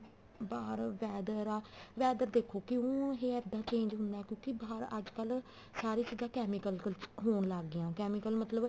ਬਾਹਰ weather ਆ weather ਦੇਖੋ ਕਿਉਂ ਇਹ ਇੱਦਾਂ change ਹੁੰਦਾ ਕਿਉਂਕਿ ਬਾਹਰ ਅੱਜਕਲ ਸਾਰੇ ਚੀਜ਼ਾਂ chemical ਹੋਣ ਲੱਗ ਗਿਆਂ chemical ਮਤਲਬ